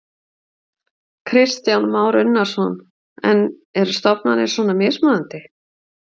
Kristján Már Unnarsson: En eru stofnanir svona mismunandi?